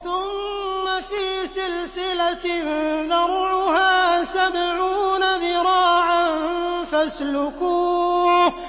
ثُمَّ فِي سِلْسِلَةٍ ذَرْعُهَا سَبْعُونَ ذِرَاعًا فَاسْلُكُوهُ